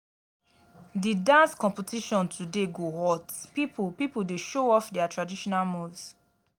di dance competition today go hot pipo pipo dey show off their traditional moves